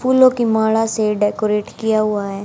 फूलों की माला से डेकोरेट किया हुआ है।